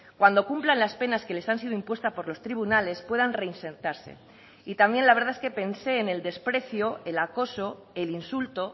cuando cumplan las penas que les han sido impuesta por los tribunales puedan reinsertarse y también la verdad es que pensé en el desprecio el acoso el insulto